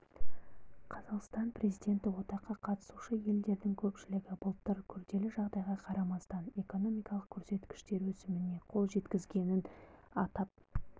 қазақстан президенті одаққа қатысушы елдердің көпшілігі былтыр күрделі жағдайға қарамастан экономикалық көрсеткіштер өсіміне қол жеткізгенін атап